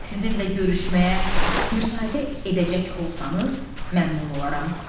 Sizinlə görüşməyə müsaitə edəcək olsanız, məmnun olaram.